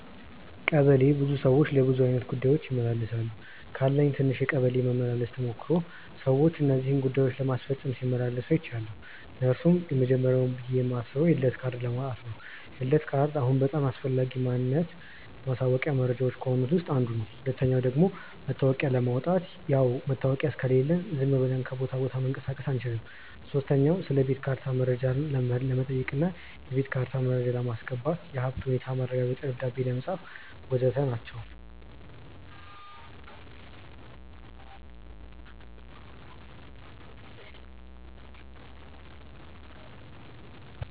ቀበሌ ብዙ ሰዎች ለብዙ አይነት ጉዳዮች ይመላለሳሉ። ካለኝ ትንሽ የቀበሌ መመላለስ ተሞክሮ ሰዎች እነዚህን ጉዳዮች ለማስፈጸም ሲመላለሱ አይችያለው። እነርሱም፦ የመጀመርያው ብዬ ማስበው የልደት ካርድ ለማውጣት ነው፤ የልደት ካርድ አሁን በጣም አስፈላጊ ማንነት ማሳወቂያ መረጃዎች ከሆኑት ውስጥ አንዱ ነው። ሁለተኛው ደግሞ መታወቂያ ለማውጣት፣ ያው መታወቂያ ከሌለን ዝም ብለን ከቦታ ቦታ መንቀሳቀስ አንችልም። ሶስተኛ ስለቤት ካርታ መረጃ ለመጠየቅ እና የቤት ካርታ መረጃ ለማስገባት፣ የሀብት ሁኔታ ማረጋገጫ ደብዳቤ ለማጻፍ.... ወዘተ ናቸው።